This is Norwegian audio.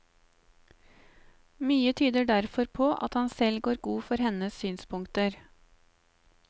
Mye tyder derfor på at han selv går god for hennes synspunkter.